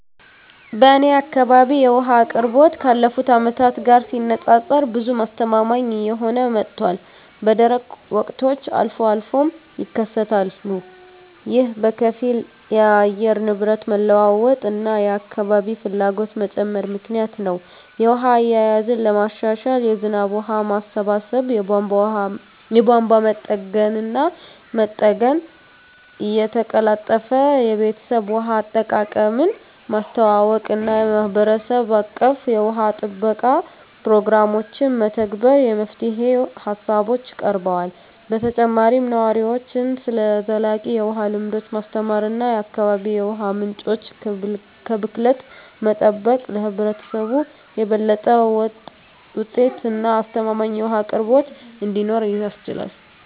በእኔ አካባቢ የውሃ አቅርቦት ካለፉት አመታት ጋር ሲነፃፀር ብዙም አስተማማኝ እየሆነ መጥቷል፣ በደረቅ ወቅቶች አልፎ አልፎም ይከሰታሉ። ይህ በከፊል የአየር ንብረት መለዋወጥ እና የአካባቢ ፍላጎት መጨመር ምክንያት ነው. የውሃ አያያዝን ለማሻሻል የዝናብ ውሃ ማሰባሰብ፣ የቧንቧ መጠገንና መጠገን፣ የተቀላጠፈ የቤተሰብ ውሃ አጠቃቀምን ማስተዋወቅ እና የማህበረሰብ አቀፍ የውሃ ጥበቃ ፕሮግራሞችን መተግበር የመፍትሄ ሃሳቦች ቀርበዋል። በተጨማሪም ነዋሪዎችን ስለ ዘላቂ የውሃ ልምዶች ማስተማር እና የአካባቢ የውሃ ምንጮችን ከብክለት መጠበቅ ለህብረተሰቡ የበለጠ ወጥ እና አስተማማኝ የውሃ አቅርቦት እንዲኖር ያስችላል።